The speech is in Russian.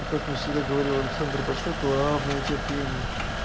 и как мне всегда говорил александр большой главное терпение